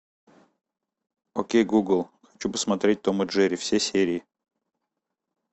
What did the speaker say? окей гугл хочу посмотреть том и джерри все серии